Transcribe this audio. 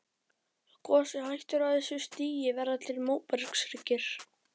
Ef gosið hættir á þessu stigi verða til móbergshryggir.